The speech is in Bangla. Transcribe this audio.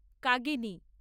কাগিনি